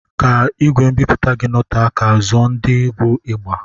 Ka ìgwè mbipụta gị noté ka, zụọ ndị bụ ịgba.